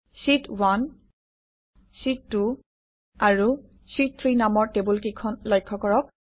শীত1 শীত2 আৰু শীত3 নামৰ টেবুলকেইখন লক্ষ্য কৰক